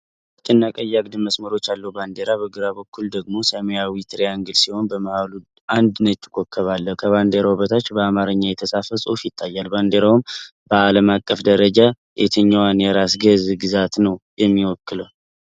አረንጓዴ፣ ነጭ እና ቀይ አግድም መስመሮች ያለው ባንዲራ። በግራ በኩል ደግሞ ሰማያዊ ትሪያንግል ሲሆን በመሃሉ አንድ ነጭ ኮከብ አለ። ከባንዲራው በታች በአማርኛ የተጻፈ ጽሑፍ ይታያል። ባንዲራው በዓለም አቀፍ ደረጃ የትኛዋን የራስ ገዝ ግዛት ነው የሚወክለው?